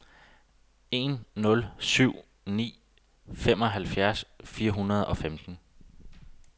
en nul syv ni femoghalvfjerds fire hundrede og femten